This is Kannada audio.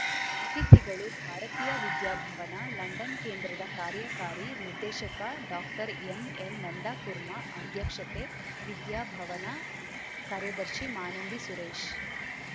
ಅತಿಥಿಗಳು ಭಾರತೀಯ ವಿದ್ಯಾಭವನ ಲಂಡನ್‌ ಕೇಂದ್ರದ ಕಾರ್ಯಕಾರಿ ನಿರ್ದೇಶಕ ಡಾಕ್ಟರ್ಎಂಎನ್‌ನಂದಕುರ್ಮಾ ಅಧ್ಯಕ್ಷತೆ ವಿದ್ಯಾಭವನ ಕಾರ್ಯದರ್ಶಿ ಮಾನಂದಿ ಸುರೇಶ್‌